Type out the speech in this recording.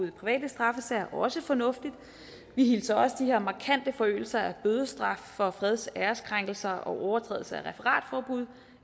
i private straffesager også fornuftigt vi hilser også de her markante forøgelser af bødestraffen for freds og æreskrænkelser og overtrædelser af referatforbud